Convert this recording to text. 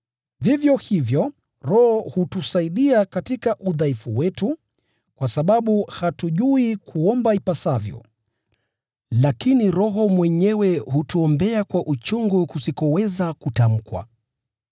Vivyo hivyo, Roho hutusaidia katika udhaifu wetu, kwa sababu hatujui kuomba ipasavyo. Lakini Roho mwenyewe hutuombea kwa uchungu usioweza kutamkwa.